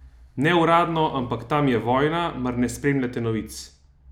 Ne uradno, ampak tam je vojna, mar ne spremljate novic?